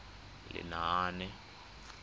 lenaane